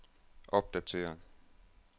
opdatér